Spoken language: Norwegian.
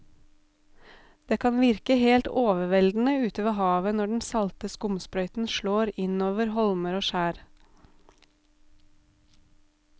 Det kan virke helt overveldende ute ved havet når den salte skumsprøyten slår innover holmer og skjær.